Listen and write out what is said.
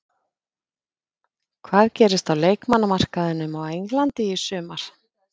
Hvað gerist á leikmannamarkaðinum á Englandi í sumar?